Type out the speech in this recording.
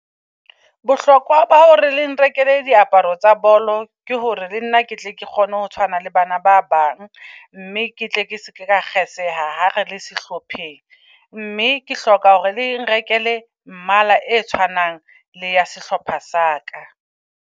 Bohlokwa bao re le nrekele diaparo tsa bolo ke hore le nna ke tle ke kgone ho tshwana le bana ba bang, mme ke tle ke seke ka kgeseha ha re le sehlopheng. Mme ke hloka hore le nrekele mmala e tshwanang le ya sehlopha sa ka.